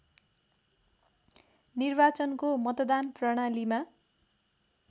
निर्वाचनको मतदान प्रणालीमा